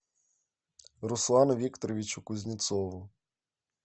руслану викторовичу кузнецову